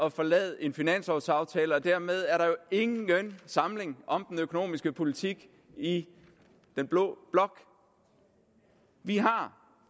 at forlade en finanslovaftale og dermed er der jo ingen samling om den økonomiske politik i den blå blok vi har